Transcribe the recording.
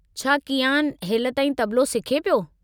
छा किआन हेलिताईं तबलो सिखे पियो?